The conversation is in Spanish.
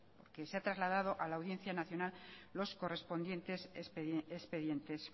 que se ha trasladado a la audiencia nacional los correspondientes expedientes